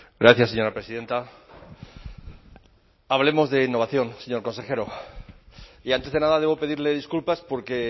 gracias señora presidenta hablemos de innovación señor consejero y antes de nada debo pedirle disculpas porque